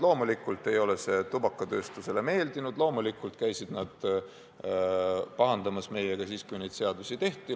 Loomulikult ei ole see tubakatööstusele meeldinud, loomulikult käisid nad meiega pahandamas, kui neid seadusi tehti.